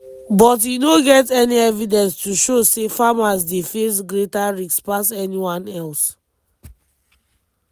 but e no get any evidence to show say farmers dey face greater risk pass anyone else.